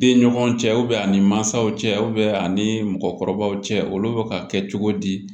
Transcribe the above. Den ɲɔgɔn cɛ a ni mansaw cɛ a ani mɔgɔkɔrɔbaw cɛ olu bɛ ka kɛ cogo di